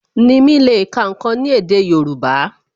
Nimi le ká ǹkan ni èdè Yorùbá